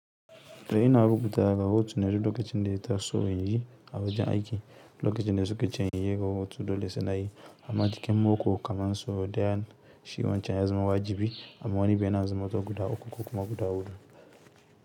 Da ina rubuta rahoto na duk lokacin ɗaya taso inyi, a wajen aiki, lokacin da suka ce inyi rohoto dole sai nayi, amma cikin mako kaman so ɗaya shi wancan ya zama wajibi, amma wani bin yana na zaman to guda ukku ko guda huɗu.